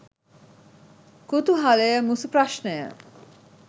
කුතුහලය මුසු ප්‍රශ්නය.